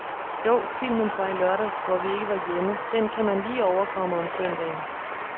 Jo, filmen fra i lørdags, hvor vi ikke var hjemme, den kan man lige overkomme om søndagen.